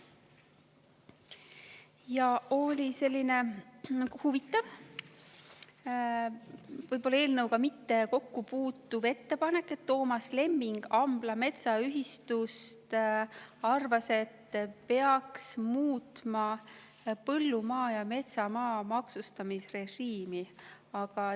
Ja oli selline huvitav eelnõuga võib-olla mitte kokkupuutuv ettepanek: Toomas Lemming Ambla Metsaühistust arvas, et peaks muutma põllumaa ja metsamaa maksustamisrežiimi.